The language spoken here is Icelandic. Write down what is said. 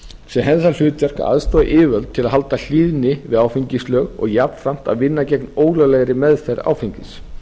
hefði það hlutverk að aðstoða yfirvöld til að halda hlýðni við áfengislög og jafnframt að vinna gegn ólöglegri meðferð áfengis